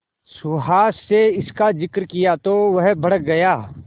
सुहास से इसका जिक्र किया तो वह भड़क गया